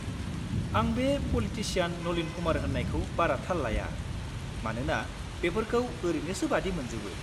आं बे पलिटिसियान नलीन कुमार होननायखौ बारा थाल लाया मानोना बेफोरखौ ओरैनोसो बादि मोनजोबो।